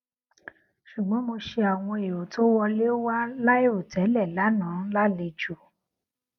ṣùgbọn mo ṣe àwọn èrò tó wọlé wá láìrò tẹlẹ lánàá lálejò